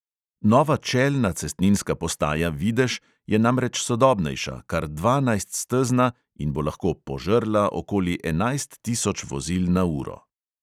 Nova čelna cestninska postaja videž je namreč sodobnejša, kar dvanajststezna, in bo lahko "požrla" okoli enajst tisoč vozil na uro!